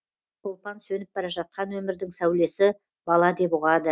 шолпан сөніп бара жатқан өмірдің сәулесі бала деп ұғады